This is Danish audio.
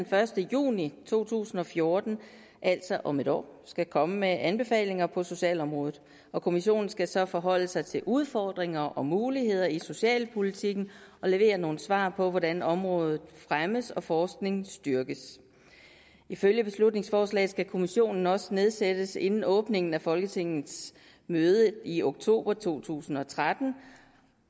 første juni to tusind og fjorten altså om et år skal komme med anbefalinger på socialområdet kommissionen skal så forholde sig til udfordringer og muligheder i socialpolitikken og levere nogle svar på hvordan området fremmes og forskningen styrkes ifølge beslutningsforslaget skal kommissionen også nedsættes inden åbningen af folketingets møde i oktober to tusind og tretten